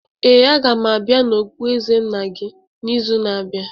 Ee, a ga m abịa na okpueze nna gị n'izu na-abịa.